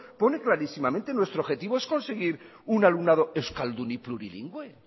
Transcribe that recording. pone clarísimamente nuestro objetivo es conseguir un alumnado euskaldun y plurilingüe